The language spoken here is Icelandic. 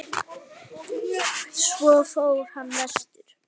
Svo fór hann vestur.